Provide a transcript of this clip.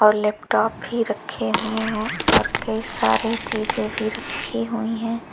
और लैपटॉप भी रखे हुए हैं और कई सारे चीजें भी रखी हुई हैं।